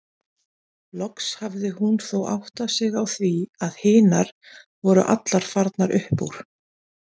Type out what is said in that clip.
Loks hafði hún þó áttað sig á því að hinar voru allar farnar upp úr.